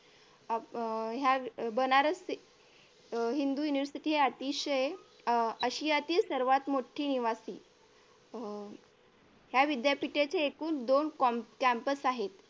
अह ह्या बनारसी अह हिंदू university ह्या अतिशय आशियातील सर्वात मोठी निवासी हम्म ह्या विद्यापीठाचे एकूण दोन campus आहेत